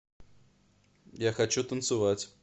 я хочу танцевать